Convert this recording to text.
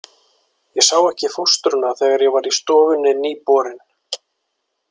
Ég sá ekki fóstruna þegar ég var í stofunni nýborinn.